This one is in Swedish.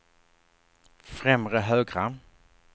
främre högra